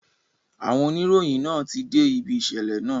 Àwọn oníròyìn náà ti dé ibi ìṣẹ̀lẹ̀ náà